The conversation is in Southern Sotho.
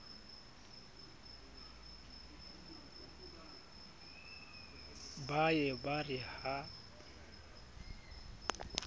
ba ye ba re ha